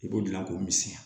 I b'o dilan k'o misɛnya